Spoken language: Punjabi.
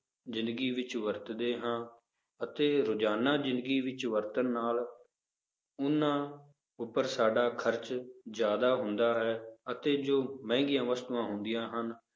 ਜ਼ਿੰਦਗੀ ਵਿੱਚ ਵਰਤਦੇ ਹਾਂ ਅਤੇ ਰੁਜ਼ਾਨਾ ਜ਼ਿੰਦਗੀ ਵਿੱਚ ਵਰਤਣ ਨਾਲ ਉਹਨਾਂ ਉੱਪਰ ਸਾਡਾ ਖ਼ਰਚ ਜ਼ਿਆਦਾ ਹੁੰਦਾ ਹੈ ਅਤੇ ਜੋ ਮਹਿੰਗੀਆਂ ਵਸਤੂਆਂ ਹੁੰਦੀਆਂ ਹਨ,